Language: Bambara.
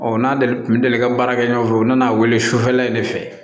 Ɔ n'ale tun delila ka baara kɛ ɲɔgɔn fɛ u nana wele sufɛla in de fɛ